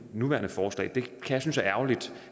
nuværende forslag det kan jeg synes er ærgerligt